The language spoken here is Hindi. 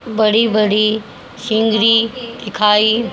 बड़ी बड़ी सीनरी दिखाई--